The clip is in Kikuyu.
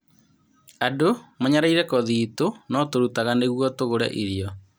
Andũ nĩ manyaraire kothi itũ, no tũrutaga nĩguo tũgũre irio.